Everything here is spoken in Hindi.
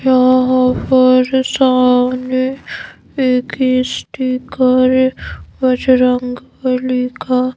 यहां पर सामने एक स्टीकर बजरंगबली का--